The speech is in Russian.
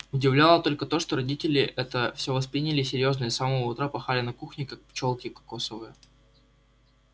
удивляло только то что родители это всё восприняли серьёзно и с самого утра пахали на кухне как пчёлки кокосовые